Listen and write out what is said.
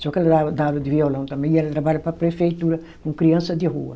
Só que ela dá aula de violão também e ela trabalha para a prefeitura com criança de rua.